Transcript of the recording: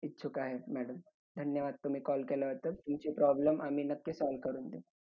आणि दादाभाई नौरोजी यांनी तिन वेळा भूषवलं.